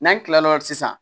N'an tilal'o la sisan